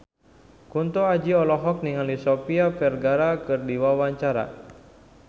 Kunto Aji olohok ningali Sofia Vergara keur diwawancara